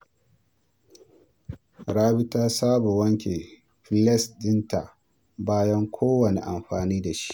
Rabi ta saba wanke filas ɗinta bayan kowanne amfani da shi.